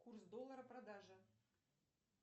курс доллара продажа